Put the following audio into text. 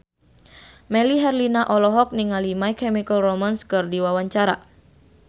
Melly Herlina olohok ningali My Chemical Romance keur diwawancara